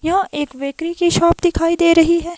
यहां एक बेकरी की शॉप दिखाई दे रही है।